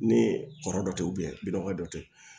Ni kɔrɔ dɔ tɛ bi dɔgɔ dɔ tɛ yen